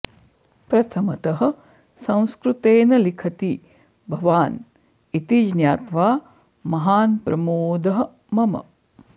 प्रथमतः संस्कृतेन लिखति भवान् इति ज्ञात्वा महान् प्रमॊदः मम